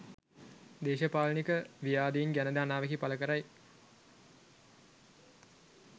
දේශපාලනික ව්‍යාධීන් ගැනද අනාවැකි පලකරයි